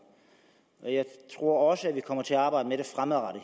jeg tror også at vi kommer til at arbejde med det